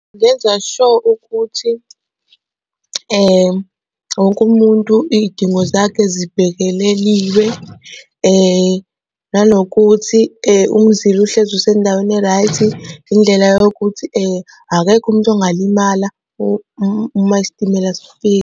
Ngenza sure ukuthi wonke umuntu iy'dingo zakhe zibhekeleliwe, nanokuthi umzila uhlezi usendaweni e-right indlela yokuthi akekho umuntu ongalimala uma isitimela sifika.